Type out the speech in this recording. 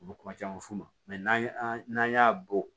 U bɛ kuma caman f'u ma n'an n'an y'a bɔ